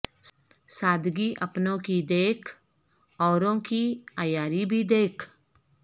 سادگی اپنوں کی دیکھ اوروں کی عیاری بھی دیکھ